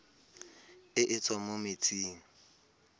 e e tswang mo metsing